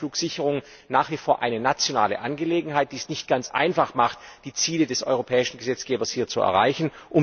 Leider ist die Flugsicherung nach wie vor eine nationale Angelegenheit, was es nicht ganz einfach macht, die Ziele des europäischen Gesetzgebers zu erreichen.